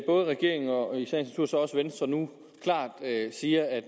både regeringen og i sagens natur så også venstre nu klart siger at